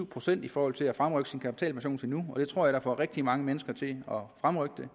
procent i forhold til at fremrykke sin kapitalpension til nu og det tror jeg får rigtig mange mennesker til at fremrykke